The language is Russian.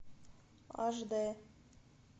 аш д